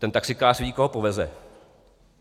Ten taxikář ví, koho poveze.